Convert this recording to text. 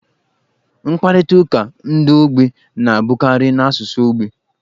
Mkparịta ụka ndi ogbi na-abụkarị n'asụsụ ogbi.